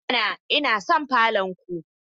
I mana! Ina son falon ku